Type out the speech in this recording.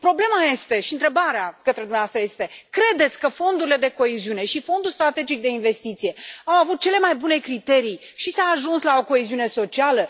Problema este și întrebarea către dumneavoastră este credeți că fondurile de coeziune și fondul strategic de investiție au avut cele mai bune criterii și s a ajuns la o coeziune socială?